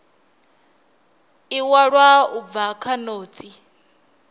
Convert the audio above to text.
iwalwa u bva kha notsi